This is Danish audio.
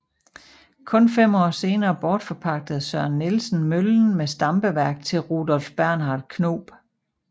Kun fem år senere bortforpagtede Søren Nielsen møllen med stampeværk til Rudolph Bernhard Knop